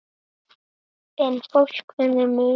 En fólk finnur mun.